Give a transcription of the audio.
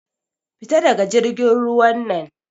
Fita daga jirgin ruwan nan!